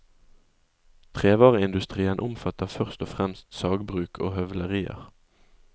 Trevareindustrien omfatter først og fremst sagbruk og høvlerier.